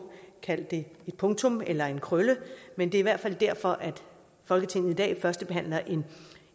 kald det et punktum eller en krølle men det er hvert fald derfor at folketinget i dag førstebehandler en